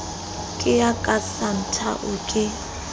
ke ya ka santhao ke